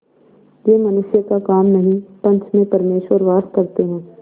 यह मनुष्य का काम नहीं पंच में परमेश्वर वास करते हैं